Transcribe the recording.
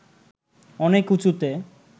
অনেক উঁচুতে